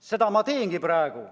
Seda ma teengi praegu.